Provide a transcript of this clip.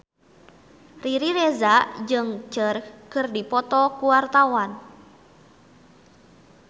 Riri Reza jeung Cher keur dipoto ku wartawan